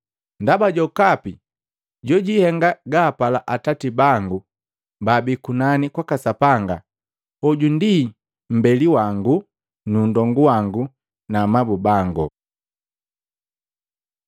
Ndaba jokapi jojihenga gaapala Atati bangu baabii kunani kwaka Sapanga, hoju ndi mmbeli wangu nu nndombu wangu na amabu bangu.”